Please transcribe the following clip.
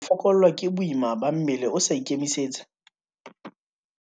Ho fokollwa ke boima ba mmele o sa ikemisetsa.